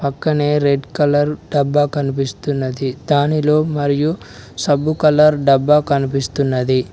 పక్కనే red colour డబ్బా కనిపిస్తున్నది దానిలో మరియు సబ్బు కలర్ డబ్బా కనిపిస్తున్నది.